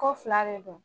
Ko fila de don